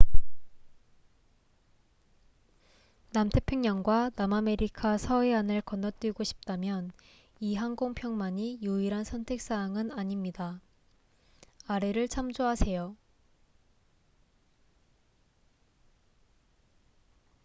남태평양과 남아메리카 서해안을 건너뛰고 싶다면 이 항공편만이 유일한 선택 사항은 아닙니다.아래를 참조하세요